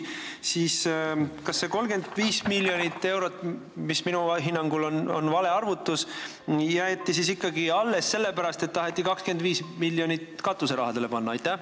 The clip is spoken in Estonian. Kas see 35 miljonit eurot – mis minu hinnangul on vale arvutus – jäeti siis ikkagi alles sellepärast, et taheti 25 miljonit katuserahadeks panna?